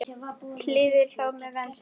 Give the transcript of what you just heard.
og hýðir þá með vendi.